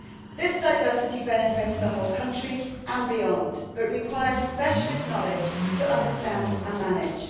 This diversity benefits the whole country and beyond, but it requires specialist knowledge to understand and manage.